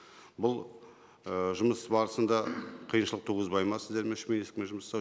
бұл ііі жұмыс барысында қиыншылық туғызбайды ма сіздерге үш министрлікпен жұмыс жасау